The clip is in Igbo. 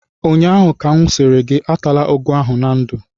ụnyaahụ ka m sịrị gị atala ụgụ ahụ na ndụ!